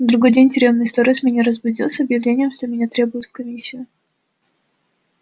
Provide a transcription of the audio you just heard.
на другой день тюремный сторож меня разбудил с объявлением что меня требуют в комиссию